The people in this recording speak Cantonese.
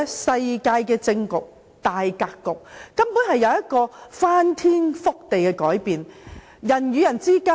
世界政治的大格局根本隨時會有翻天覆地的改變。